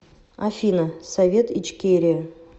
афина совет ичкерия